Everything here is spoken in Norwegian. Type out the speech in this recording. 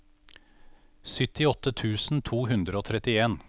syttiåtte tusen to hundre og trettien